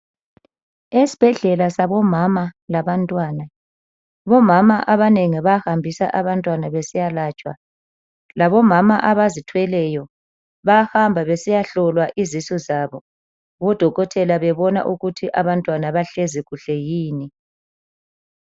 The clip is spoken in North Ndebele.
Esibhedlela sabomama laba ntwana. Omama abanengi bahambisa abantwana besiyalatshwa .Labo mama abazithweleyo bayahamba besiya hlolwa izisu zabo odokotela bebona ukuthi abantwana bahlezi kuhle yini.